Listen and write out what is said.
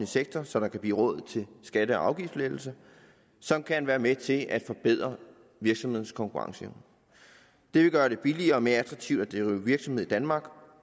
sektor så der kan blive råd til skatte og afgiftslettelser som kan være med til at forbedre virksomhedernes konkurrenceevne det vil gøre det billigere og mere attraktivt at drive virksomhed i danmark